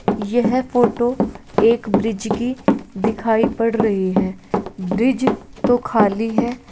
येहे है फोटो एक ब्रिज की दिखाई पड़ रही है ब्रिज तो खाली है |